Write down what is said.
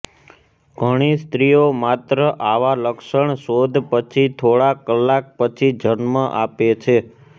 ઘણી સ્ત્રીઓ માત્ર આવા લક્ષણ શોધ પછી થોડા કલાક પછી જન્મ આપે છે